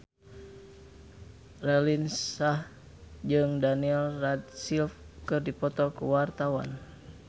Raline Shah jeung Daniel Radcliffe keur dipoto ku wartawan